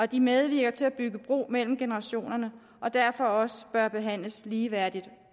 de medvirker til at bygge bro mellem generationerne og derfor også bør behandles ligeværdigt